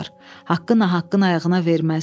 Haqqı nahaqqın ayağına verməz.